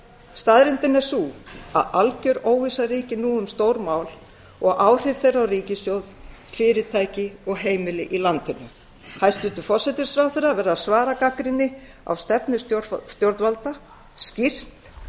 staðreyndin er sú að algjör óvissa ríkir nú um stór mál og áhrif þeirra á ríkissjóð fyrirtæki og heimili í landinu hæstvirtur forsætisráðherra verður að svara gagnrýni á stefnu stjórnvalda skýrt